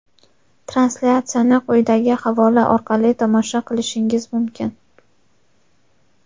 Translyatsiyani quyidagi havola orqali tomosha qilishingiz mumkin:.